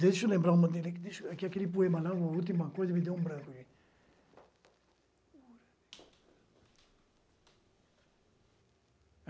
Deixa eu lembrar... Aquele poema lá, a última coisa, me deu um branco.